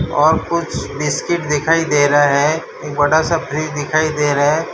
और कुछ बिस्किट दिखाई दे रहा है एक बड़ा सा फ्रीज दिखाई दे रहा है।